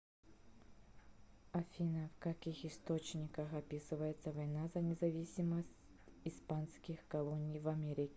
афина в каких источниках описывается война за независимость испанских колоний в америке